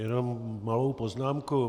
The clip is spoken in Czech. Jen malou poznámku.